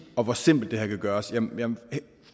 og hvor simpelt det her kan gøres jamen